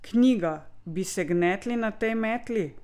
Knjiga Bi se gnetli na tej metli?